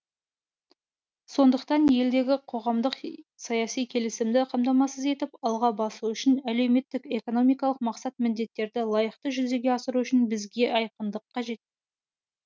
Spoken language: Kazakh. сондықтан елдегі қоғамдық саяси келісімді қамтамасыз етіп алға басу үшін әлеуметтік экономикалық мақсат міндеттерді лайықты жүзеге асыру үшін бізге айқындық қажет